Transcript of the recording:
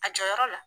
A jɔyɔrɔ la